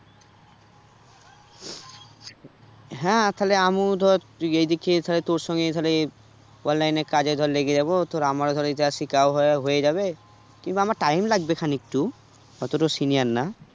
হ্যাঁ তাহলে আমু ধর এই দিকে তাহলে তোর সঙ্গে তাহলে online এর কাজে ধর লেগে যাবো তো আমারও ধর এইটা শেখাও হওয়া হয়ে যাবে কিন্তু আমার time লাগবে খানিকটু অতটাও senior না